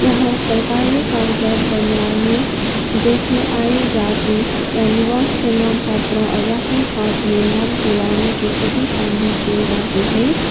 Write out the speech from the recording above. यहां सरकारी कागजात बनवाने जैसे आय जाति या निवास प्रणाम पत्र और राशन कार्ड में नाम जुड़वाने के सभी काम भी किए जाते हैं।